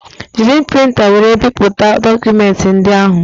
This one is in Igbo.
Jiri printa wéré bipụta dokumenti ndị ahụ